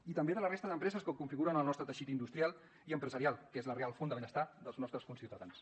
i també de la resta d’empreses que configuren el nostre teixit industrial i empresarial que és la real font de benestar dels nostres conciutadans